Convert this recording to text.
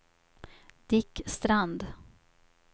Dick Strand